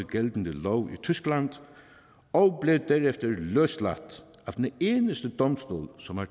gældende lov i tyskland og blev derefter løsladt af den eneste domstol som har